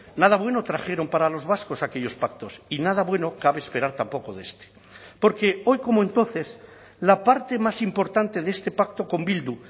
nada bueno trajeron para los vascos aquellos pactos y nada bueno cabe esperar tampoco de este porque hoy como entonces la parte más importante de este pacto con bildu